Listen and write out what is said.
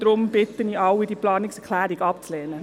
Deshalb bitte ich alle, diese Planungserklärung abzulehnen.